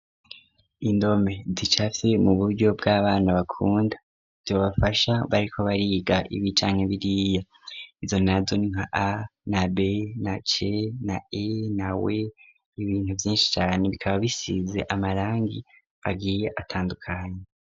Indome zicafye mu buryo bw'abana bakunda bybbafasha bariko bariga ibicanya biriya izo nazon n a na bay na ch na a na wa ibintu byinshi cyane bikaba bisize amarangi agiye atandukanye.